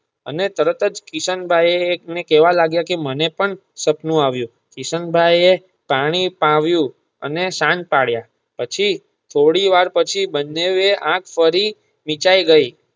અને તરત જ કિશન ભાઈ એ કહેવા લાગીયા કે મને પણ સપનું આવ્યુ કિશન ભાઈ એ પાણી પાવ્યુ અને શાંત પાળિયા પછી થોડી વાર પછી બન્નેવે એ આંખ ફરી વિચાય ગય.